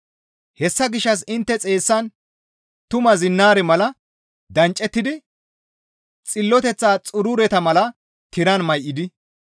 Hessa gishshas intte xeessan tumaa zinnaare mala danccettidi xilloteththa xurureta mala tiran may7idi,